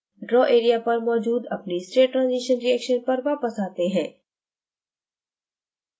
draw area पर मौजूद अपनी state transition reaction पर वापस आते हैं